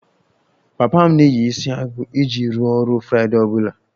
Papa m na-eyi isiagu iji rụọ ọrụ friday ọ bụla